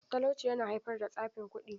Talauci yana haifar da tsafin kuɗi.